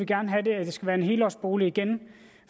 gerne have at det skal være en helårsbolig igen